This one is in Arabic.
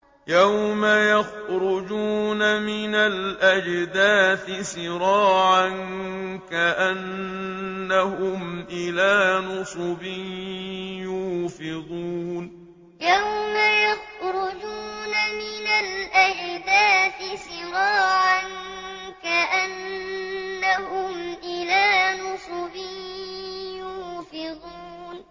يَوْمَ يَخْرُجُونَ مِنَ الْأَجْدَاثِ سِرَاعًا كَأَنَّهُمْ إِلَىٰ نُصُبٍ يُوفِضُونَ يَوْمَ يَخْرُجُونَ مِنَ الْأَجْدَاثِ سِرَاعًا كَأَنَّهُمْ إِلَىٰ نُصُبٍ يُوفِضُونَ